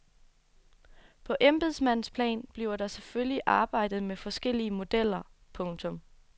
På embedsmandsplan bliver der selvfølgelig arbejdet med forskellige modeller. punktum